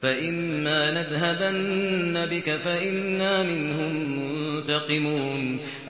فَإِمَّا نَذْهَبَنَّ بِكَ فَإِنَّا مِنْهُم مُّنتَقِمُونَ